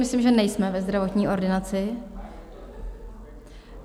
Myslím, že nejsme ve zdravotní ordinaci.